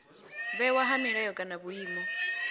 vhewa ha milayo kana vhuimo